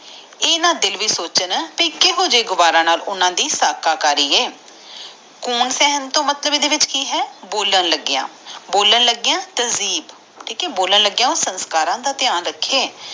ਇਹਦਾ ਦਿਲ ਵੀ ਸੋਚਣਾ ਤੇ ਕੁਇਹੋ ਜੇ ਗਾਵਾਰਾ ਨਾਲ ਓਹਨਾ ਦੇ ਸਾਹ ਕਰਿ ਆਏ ਗਨ ਸਹਿਣ ਦਾ ਮਤਲੈਬ ਏਡੇ ਵੀਚ ਕਿ ਆ ਬੋਈਲਾਂ ਲੱਗਿਆ ਬੋਲਾਂ ਲੱਗਿਆ ਤਰਜੇਬ ਮਤਲਬ ਬੋਲਣ ਲਗਿਆ ਸੰਸਕਾਰ ਦਾ ਧਯਾਨ ਰੱਖੇ